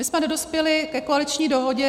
My jsme nedospěli ke koaliční dohodě.